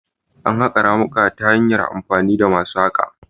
Ana haƙa ramuka ta hanyar amfani da masu haƙa